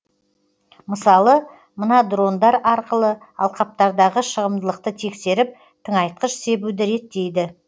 мысалы мына дрондар арқылы алқаптардағы шығымдылықты тексеріп тыңайтқыш себуді реттейді